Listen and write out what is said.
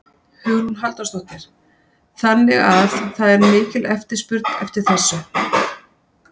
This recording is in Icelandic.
Hugrún Halldórsdóttir: Þannig að það er mikil eftirspurn eftir þessu?